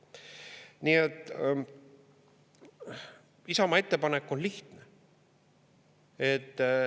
Nii et Isamaa ettepanek on lihtne.